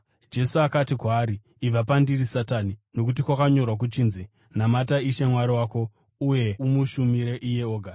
Jesu akati kwaari, “Ibva pandiri Satani! Nokuti kwakanyorwa kuchinzi, ‘Namata Ishe Mwari wako uye umushumire iye oga.’ ”